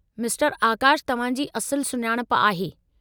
मिस्टरु आकाशु तव्हां जी असुलु सुञाणप आहे।